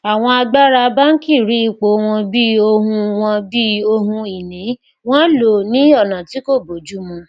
àwọn àgbàrá bánkì rí ipò wọn bí ohun wọn bí ohun ìní wọn lò ó ní ọnà tí kò bójúmu